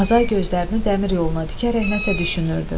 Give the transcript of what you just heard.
Azay gözlərini dəmir yoluna dikərək nəsə düşünürdü.